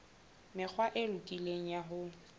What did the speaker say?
mekgwa e lokileng ya ho